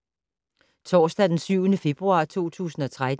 Torsdag d. 7. februar 2013